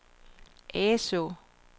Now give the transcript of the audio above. Asaa